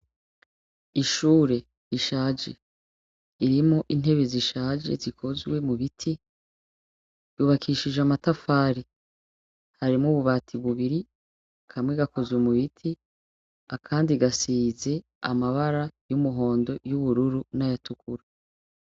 Ishuri rishaje, ririmwo intebe zishaje zikozwe mubiti ryubakishijwe amatafari ahiye ,harimwo ubu bati bubiri kamwe gakozwe mubiti akandi gasize amabara y'umuhondo , y'ubururu n'ayatukura.